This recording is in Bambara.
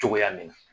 Cogoya min na